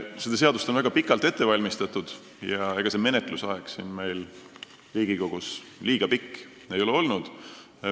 Seda seadust on väga pikalt ette valmistatud ja ega see menetluse aeg siin Riigikogus just liiga pikk ei ole olnud.